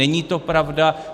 Není to pravda.